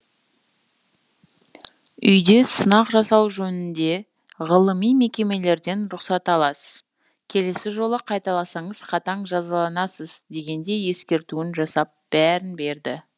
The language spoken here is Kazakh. үйде сынақ жасау жөнінде ғылыми мекемелерден рұқсат аласыз келесі жолы қайталасаңыз қатаң жазаланасыз дегендей ескертуін жасап бәрін берді